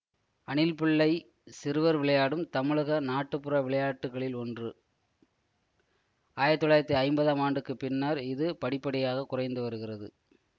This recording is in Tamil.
அணில் பிள்ளை சிறுவர் விளையாடும் தமிழக நாட்டுப்புற விளையாட்டுகளில் ஒன்று ஆயிரத்தி தொள்ளாயிரத்தி ஐம்பதாம் ஆண்டுக்கு பின்னர் இது படிப்படியாகக் குறைந்துவருகிறது